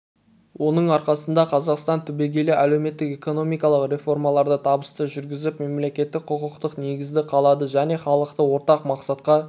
оның арқасында қазақстан түбегейлі әлеуметтік-экономикалық реформаларды табысты жүргізіп мемлекеттік-құқықтық негізді қалады және халықты ортақ мақсатқа